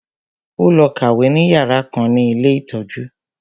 Ó lọ kàwé ní yàrá kan ní ilé ìtọ́jú